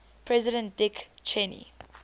president dick cheney